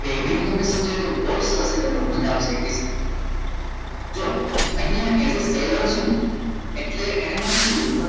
બે હવે એણે એમ તમને સમજાય તો બહુ સારી રીતે બહુ મજા આવશે જો અહીંયા as a seller છું એટલે એણે મને શું કીધું ખબર